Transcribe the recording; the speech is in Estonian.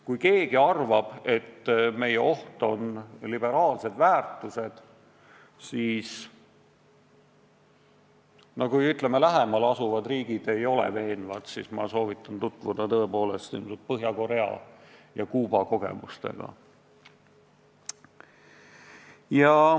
Kui keegi arvab, et oht on liberaalsed väärtused, siis ma vastan neile, et kui, ütleme, lähemal asuvad riigid ei ole veenvad, siis ma soovitan tutvuda Põhja-Korea ja Kuuba kogemustega.